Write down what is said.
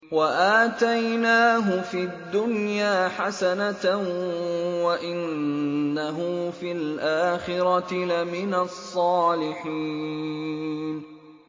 وَآتَيْنَاهُ فِي الدُّنْيَا حَسَنَةً ۖ وَإِنَّهُ فِي الْآخِرَةِ لَمِنَ الصَّالِحِينَ